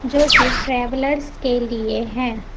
जोकि ट्रैवलर्स के लिए है।